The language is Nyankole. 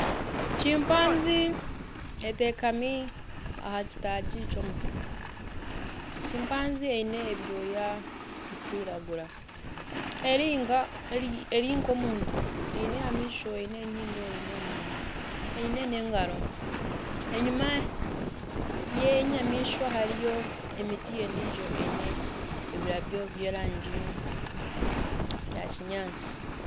Chimpanzee eteekami aha kitagi ky'omuti. Chimpanzee eine ebyooya birikwiragura eri nka omuntu eine amaisho, eine enyindo, eine omunwa eine n'engaro enyuma y'enyamaishwa hariyo emiti endijo eine ebirabyo by'erangi ya kinyaatsi.